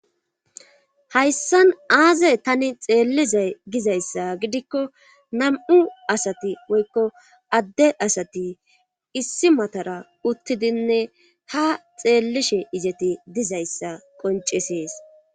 hayssan aazey tani xeellizay gizayssa gidikko nam7u asati woykko adde asati issi matara uttidinne ha xeellishe izati dizayssa qoncesees